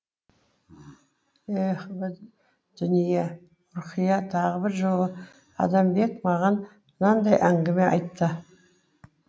еһ дүние е ұрқия тағы бір жолы адамбек маған мынадай әңгіме айтты